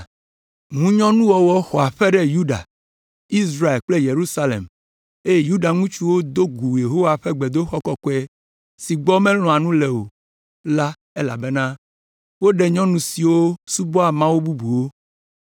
Ŋunyɔnuwɔwɔ xɔ aƒe ɖe Yuda, Israel kple Yerusalem eye Yuda ŋutsuwo do gu Yehowa ƒe gbedoxɔ kɔkɔe si gbɔ melɔ̃a nu le o la elabena woɖe nyɔnu siwo subɔa mawu bubuwo.